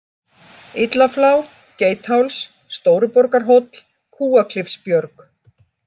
Illaflá, Geitháls, Stóruborgarhóll, Kúaklifsbjörg